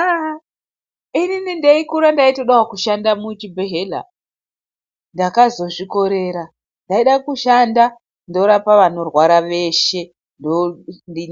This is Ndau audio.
Aaah inininndichikura ndaitodawo kushanda muchibhehleya ndakazozvikorera ndaida kushanda ndorapa vanorwara veshe